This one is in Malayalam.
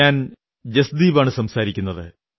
ഞാൻ ജസ്ദീപാണു സംസാരിക്കുന്നത്